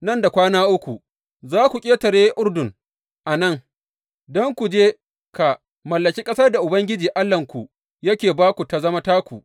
Nan da kwana uku za ku ƙetare Urdun a nan, don ku je ka mallaki ƙasar da Ubangiji Allahnku yake ba ku ta zama taku.’